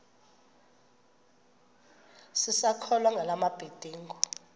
sisakholwa ngala mabedengu